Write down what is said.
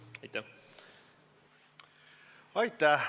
Aitäh!